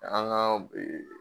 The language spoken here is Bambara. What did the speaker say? An ka